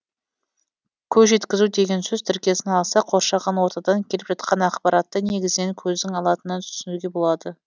көз жеткізу деген сөз тіркесін алсақ қоршаған ортадан келіп жатқан ақпаратты негізінен көздің алатынын түсінуге болады